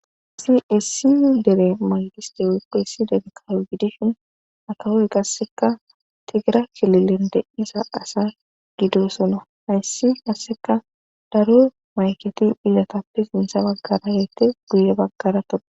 isi essi dere maygiste woykpeyssi dege kayo gidishin akawoy qasseka tigira kililende isa asa gido sona hayssi asseka daro mayketi ilatappe sintsha baggaragete guye baggarato